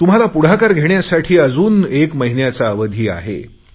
तुम्हाला पुढाकार घेण्यासाठी अजून एक महिन्याचा अवधी आहे